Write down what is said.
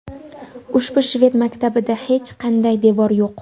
Ushbu shved maktabida hech qanday devor yo‘q.